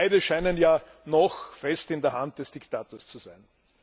Beide scheinen ja noch fest in der Hand des Diktators zu sein.